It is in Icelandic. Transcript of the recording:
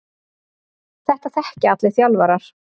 Þetta þekkja allir þjálfarar.